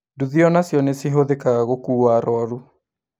Nduthi onacio nĩcihũthĩkaga gũkua arwaru